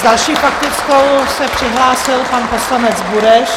S další faktickou se přihlásil pan poslanec Bureš.